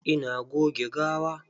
Ina goge gawa.